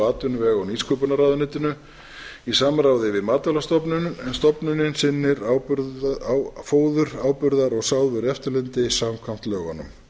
atvinnuvega og nýsköpunarráðuneytinu í samráði við matvælastofnun en stofnunin sinnir fóður áburðar og sáðvörueftirliti samkvæmt lögunum